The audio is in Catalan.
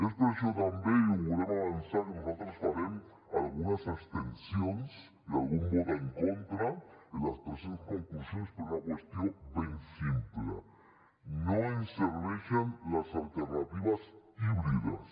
és per això també i ho volem avançar que nosaltres farem algunes abstencions i algun vot en contra en les presents conclusions per una qüestió ben simple no ens serveixen les alternatives híbrides